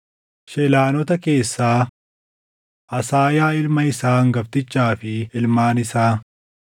Shelaanota keessaa: Asaayaa ilma isaa hangaftichaa fi ilmaan isaa.